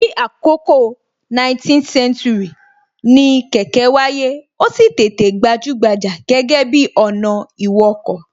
Ní àkọkọ 19th century, ni kẹ̀kẹ́ wáyé, ó sì tètè gbajúgbajà gẹ́gẹ́ bi ọ̀nà ìwọkọ̀